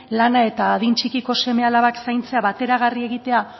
lana eta adin txikiko seme alabak zaintzea bateragarri egitea